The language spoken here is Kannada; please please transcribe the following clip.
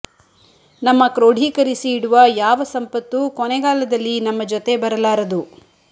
ನಮ್ಮ ಕ್ರೋಢೀಕರಿಸಿ ಇಡುವ ಯಾವ ಸಂಪತ್ತೂ ಕೊನೆಗಾಲದಲ್ಲಿ ನಮ್ಮ ಜೊತೆ ಬರಲಾರದು